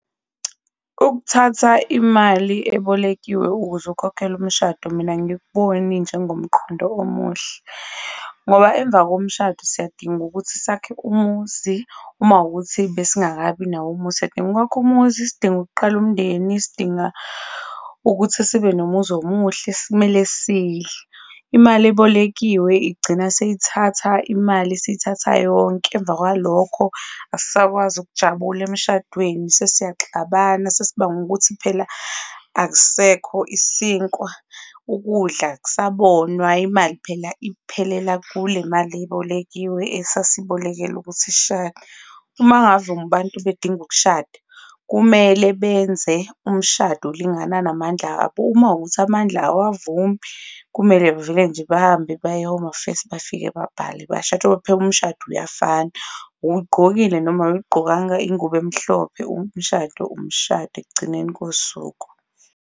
Ukuthatha imali ebolekiwe ukuze ukhokhele umshado mina angikuboni njengomqondo omuhle, ngoba emva komshado siyadinga ukuthi sakhe umuzi uma ukuthi besingakabi nawo umuzi. Siyadinga ukwakha umuzi, sidinga ukuqala umndeni, sidinga ukuthi sibe nomuzwa omuhle, kumele sidle. Imali ebolekiwe igcina seyithatha imali, isiyithatha yonke. Emva kwalokho, asisakwazi ukujabula emshadweni sesiyaxabana, sesibanga ukuthi phela akusekho isinkwa, ukudla akusabonwa, imali phela iphelela kule mali ebolekiwe, esasiyibolekele ukuthi sishade. Uma ngave abantu bedinga ukushada, kumele benze umshado olingana namandla abo. Uma kuwukuthi amandla awavumi, kumele bavele nje bahambe baye e-Home Affairs bafike babhale bashade ngoba phela umshado uyafana, uyigqokile noma awuyigqokanga ingubo emhlophe umshado, umshado ekugcineni kosuku.